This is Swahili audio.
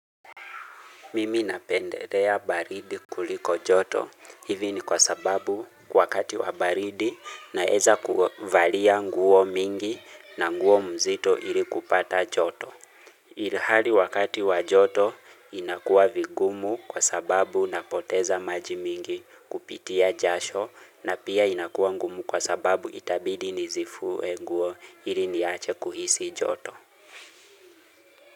Mimi napendelea baridi kuliko joto. Hivi ni kwa sababu kwa wakati wa baridi naeza kuvalia nguo mingi na nguo mzito ili kupata joto. Hali wakati wa joto inakuwa vigumu kwa sababu napoteza maji mingi kupitia jasho na pia inakuwa ngumu kwa sababu itabidi nizivue nguo ili niache kuhisi joto.